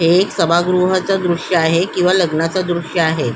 हे एक सभागृहाचे दृश्य आहे किंवा लग्नाच दृश्य आहे.